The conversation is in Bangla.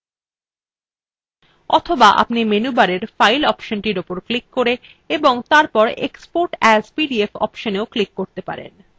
অথবা আপনি menu bar file অপশনটির উপর ক্লিক করে এবং তারপর export as pdf অপশনএও ক্লিক করতে পারেন